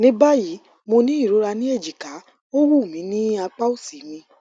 ní báyìí mo ní ìrora ní ejika ó wúmi ní apa osi mi